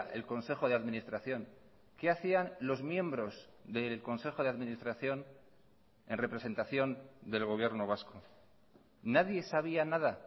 el consejo de administración qué hacían los miembros del consejo de administración en representación del gobierno vasco nadie sabía nada